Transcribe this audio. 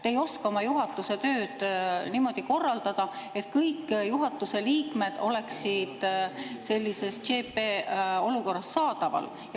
Te ei oska oma juhatuse tööd niimoodi korraldada, et kõik juhatuse liikmed oleksid sellises CP-olukorras saadaval.